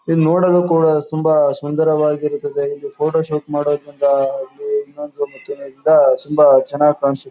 ಇದು ನೋಡಲು ಕೂಡ ತುಂಬಾ ಸುಂದರವಾಗಿ ಇರ್ತದೆ ಇದು ಫೋಟೋಶೂಟ್ ಮಾಡೋಮುಂದ ಆಗ್ಲಿ ಇನ್ನೊಂದ್ ಮತ್ತೆ ತುಂಬಾ ಚನ್ನಾಗ್ ಕನಸು --.